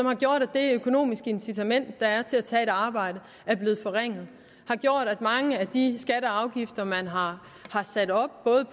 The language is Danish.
har gjort at det økonomiske incitament der er til at tage et arbejde er blevet forringet og har gjort at mange af de skatter og afgifter man har sat op både